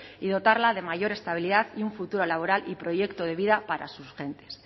y dotarla de mayor estabilidad y un futuro laboral y proyecto de vida para sus gentes